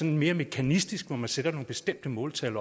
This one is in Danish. en mere mekanistisk strategi hvor man sætter nogle bestemte måltal